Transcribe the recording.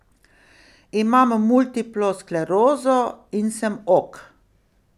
Imam multiplo sklerozo in sem ok.